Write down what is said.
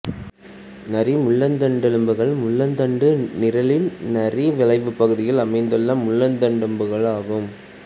நாரி முள்ளந்தண்டெலும்புகள் முள்ளந்தண்டு நிரலின் நாரி வளைவு பகுதியில் அமைந்த முள்ளந்தண்டெலும்புகள் ஆகும்